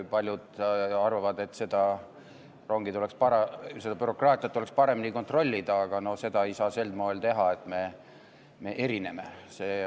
Paljud arvavad, et seda bürokraatiat tuleks paremini kontrollida, aga seda ei saa sel moel teha, et me erineme.